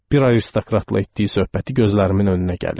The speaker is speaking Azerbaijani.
Bir aristokratla etdiyi söhbəti gözlərimin önünə gəlir.